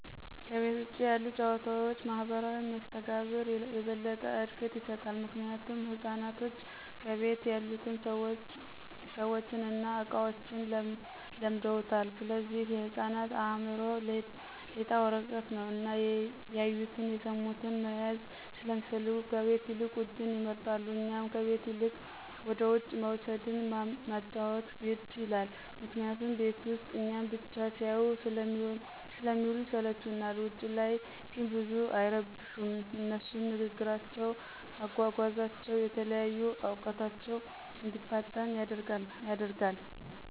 ከቤት ውጭ ያሉት ጭዋታዎች ማህበራዊ መስተጋብር የበለጠ እድገት ይሰጣል። ምክንያቱም ህፃናቶች ከቤት ያሉትን ሰዎችን እና እቃዎችን ለምደውታል ስለዚህ የህፃናት አእምሮ ሌጣ ወረቀት ነው እና ያዩቱን፣ የስሙትን መያዝ ሰለሚፈልጉ ከቤት ይልቅ ውጭውን ይመርጣሉ። እኛም ከቤት ይልቅ ወደውጭ መውሰድን ማጫዎት ግድ ይላል ምክንያቱም ቤት ውስጥ እኛን ብቻ ሲያዩ ስለሚውሉ ይስለቹናል። ውጭ ላይ ግን ብዙም አይረብሹም አነሱም ንግግራቸው፣ አጓጓዛቸው፣ የተለያዩ እውቀታቸው እንዲፋጠን ያደርግልናል።